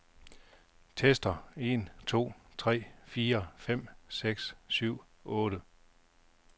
Tester en to tre fire fem seks syv otte.